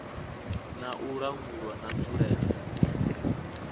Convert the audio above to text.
na u langulwa na nzulele